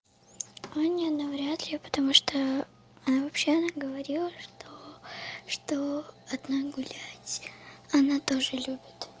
аня навряд ли потому что она вообще она говорила что что одна гулять она тоже любит